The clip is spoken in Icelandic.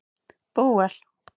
Bóel